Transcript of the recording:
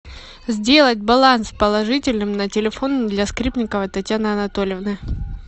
сделать баланс положительным на телефон для скрипниковой татьяны анатольевны